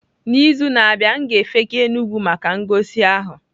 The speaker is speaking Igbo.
N'izu na-abịa, m ga-efega Enugwu maka ngosi ahụ.